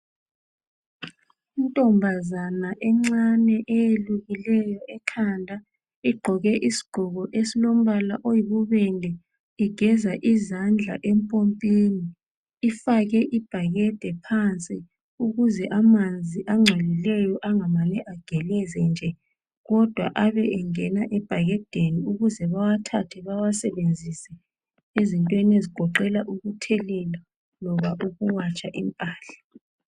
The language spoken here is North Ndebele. Intombazana encane eyelukileyo ekhanda . Igqoke isigqoko esilombala oyibubende igeza izandla empompini ifake ibhakade phansi ukuze amanzi angcolileyo angamane ageleze nje kodwa abe engena ebhakedeni ukuze bawathathe bawasebenzise ezintweni ezigoqela ukuthelela loba ukuwatsha impahla .